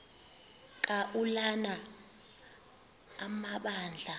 ka ulana amabandla